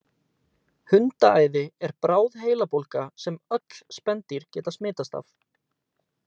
Hundaæði er bráð heilabólga sem öll spendýr geta smitast af.